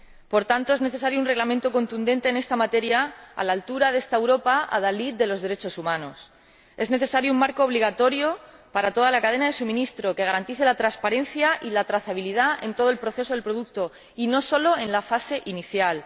Por tanto, es necesario un reglamento contundente en esta materia, a la altura de esta Europa adalid de los derechos humanos. Es necesario un marco obligatorio para toda la cadena de suministro, que garantice la transparencia y la trazabilidad del producto en todo el proceso y no solo en la fase inicial.